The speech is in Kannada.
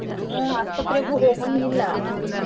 ಹುಂ ಆಸ್ಪತ್ರೆಗು ಹೋಗುವಂಗಿಲ್ಲಾ .